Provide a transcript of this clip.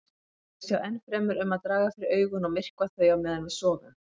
Þau sjá ennfremur um að draga fyrir augun og myrkva þau á meðan við sofum.